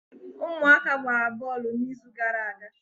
ụmụaka gbara bọọlụ n'izu gara aga